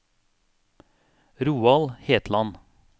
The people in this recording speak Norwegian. Roald Hetland